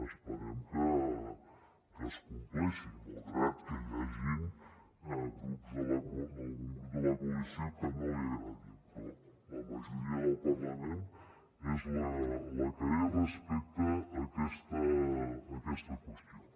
esperem que es compleixi malgrat que hi hagin grups algun grup de la coalició que no li agradi però la majoria del parlament és la que és respecte a aquesta qüestió